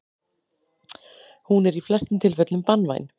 Hún er í flestum tilfellum banvæn.